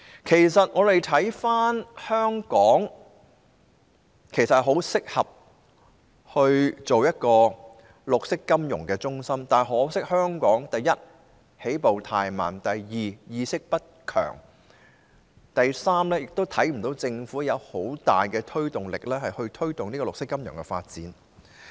其實，我們看回來，香港十分適合成為一個綠色金融中心，但可惜香港，第一，起步太慢，第二，意識不強，第三，看不到政府有很大的推動力，推動綠色金融的發展。